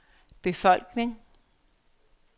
befolkning